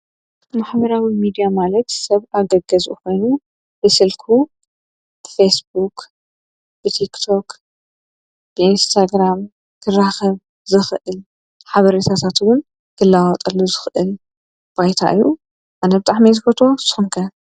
ብመኅበራዊ ሚድያ ማለት ሰብ ኣገገዝ ኾይኑ ብስልኩ ፌስቡቅ፣ ብቲክቶቅ ፣ብእንስተግራም ክራኸብ ዝኽእል ሓበርሳሳትውን ክለዋጠሎ ዝኽእል ባይታ እዩ ኣነብጣሕ መይዝጐቶ ሶንቀ።